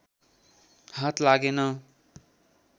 हात लागेन